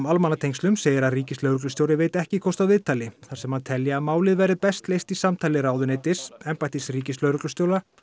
almannatengslum segir að ríkislögreglustjóri veiti ekki kost á viðtali þar sem hann telji að málið verði best leyst í samtali ráðuneytis embættis ríkislögreglustjóra